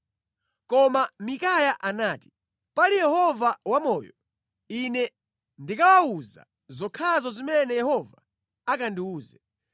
Koma Mikaya anati, “Pali Yehova wamoyo, ine ndikawawuza zokhazo zimene Yehova akandiwuze.”